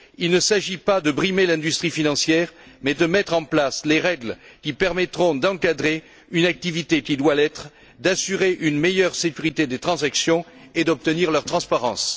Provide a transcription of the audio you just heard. Il ne s'agit pas de brimer l'industrie financière, mais de mettre en place les règles qui permettront d'encadrer une activité qui doit l'être, d'assurer une meilleure sécurité des transactions et d'obtenir leur transparence.